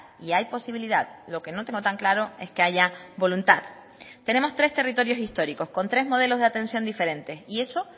y hay posibilidad lo que no tengo tan claro es que haya voluntad tenemos tres territorios históricos con tres modelos de atención diferentes y eso